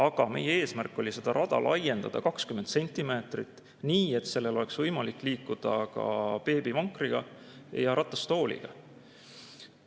Ja meie eesmärk oli seda rada laiendada 20 sentimeetrit, nii et sellel oleks võimalik liikuda ka beebivankri ja ratastooliga.